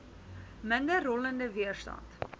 minder rollende weerstand